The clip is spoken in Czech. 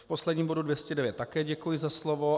V posledním bodu 209 také děkuji za slovo.